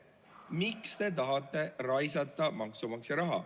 Miks te tahate maksumaksja raha raisata?